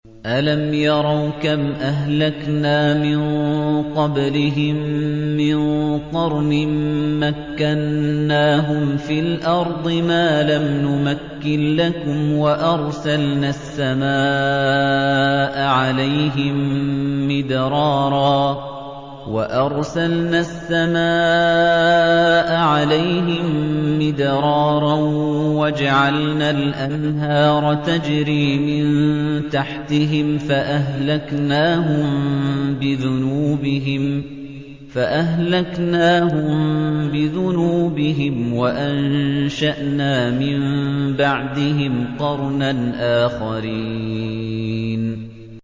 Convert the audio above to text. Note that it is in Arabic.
أَلَمْ يَرَوْا كَمْ أَهْلَكْنَا مِن قَبْلِهِم مِّن قَرْنٍ مَّكَّنَّاهُمْ فِي الْأَرْضِ مَا لَمْ نُمَكِّن لَّكُمْ وَأَرْسَلْنَا السَّمَاءَ عَلَيْهِم مِّدْرَارًا وَجَعَلْنَا الْأَنْهَارَ تَجْرِي مِن تَحْتِهِمْ فَأَهْلَكْنَاهُم بِذُنُوبِهِمْ وَأَنشَأْنَا مِن بَعْدِهِمْ قَرْنًا آخَرِينَ